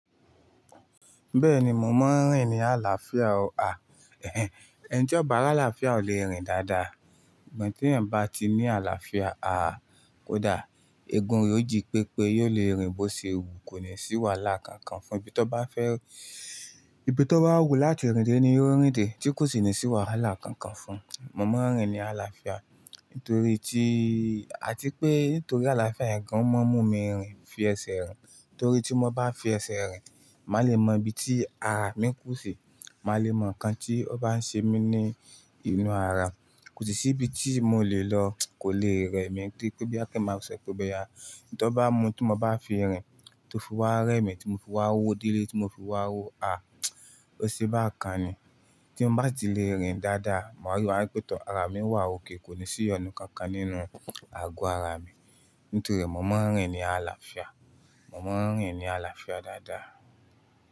Bẹ́ẹ̀ni, mò ń rìn ní àlàáfíà o. À, ẹhn, ẹni tí ọba àlàáfíà ò lè rìn dáadáa. Ìgbà tí ẹ̀yin bá ti ní àlàáfíà, aá, kódà egun rẹ̀ ó jí pépé, yóò lè rìn bó ṣe wù kò ní sì wà làkànkàn fún un. Ibi tó bá fẹ́, ibi tó bá wù láti rìn dé ni yóò rìn dé, tí kò sì ní sì wà làkànkàn Mo máa ń rìn ní àlàáfíà. Nítorí tí, àti pé nítorí àlàáfíà ẹ̀ gan, ó máa ń mú mi rìn fi ẹsẹ̀ rìn. Torí tí mo bá fi ẹsẹ̀ rìn, màá le mọ ibi tí ara mi ń kú si. Màá le mọ ǹkan tí ó bá ń ṣe mí ní inú ara. Kò sì ibi tí mò lè lọ kò lè rẹ̀ mí. Kíni pé bí kin máa ń sọ pé ọbẹ̀ ya. Tó bá mu tí mo bá fi rìn, tí ó fi wá rẹ́ mi, tí mo fi wá wó dírí, tí mo fi wá wò, aá, ó ṣe bá ǹkan ni. Tí mo bá ti lè rìn dáadáa, màá rí wípé tán ara mi wà òkay kò sì iyonu kankan nínú ago ara mi. Nítorí mò ń rìn ní àlàáfíà. Mò ń rìn ní àlàáfíà dáadáa.